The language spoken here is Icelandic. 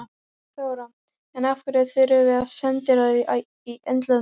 Þóra: En af hverju þurfum við sendiráð í Indlandi?